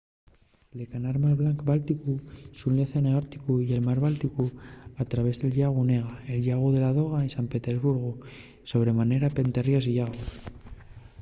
la canal mar blancu-bálticu xune l’océanu árticu y el mar bálticu al traviés del llagu onega el llagu de ládoga y san petersburgu sobre manera pente ríos y llagos